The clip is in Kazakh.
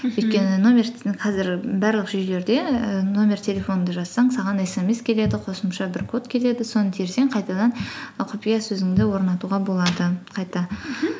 мхм өйткені қазір барлық жүйелерде і номер телефоныңды жазсаң саған смс келеді қосымша бір код келеді соны терсең қайтадан і құпия сөзіңді орнатуға болады қайта мхм